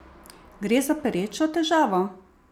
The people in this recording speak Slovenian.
Gre za perečo težavo?